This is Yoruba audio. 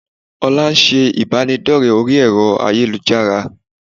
Olá ńṣe ìbádọ́rẹ̀ẹ́ orí ẹ̀rọ ayélujára